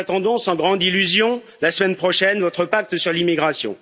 Nous attendons, sans grande illusion, la semaine prochaine, votre pacte sur l'immigration.